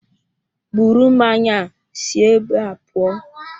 Bụrụ mmanya a si ébé a pụọ!